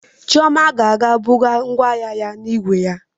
Chioma ga-aga buru ngwongwo ya n'igwe igwe ya.